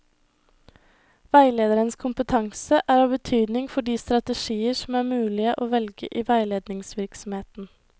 Veilederens kompetanse er av betydning for de strategier som er mulige å velge i veiledningsvirksomheten.